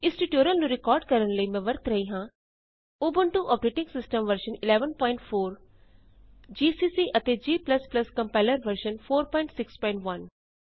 ਇਸ ਟਯੂਟੋਰਿਅਲ ਨੂੰ ਰਿਕਾਰਡ ਕਰਨ ਲਈ ਮੈਂ ਵਰਤ ਰਹੀ ਹਾਂ Ubuntu operating system version 1104 GCC ਅਤੇ g ਕੰਪਾਇਲਰ ਵਰਜ਼ਨ 461